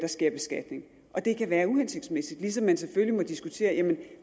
sker beskatning det kan være uhensigtsmæssigt ligesom man selvfølgelig må diskutere